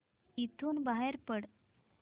इथून बाहेर पड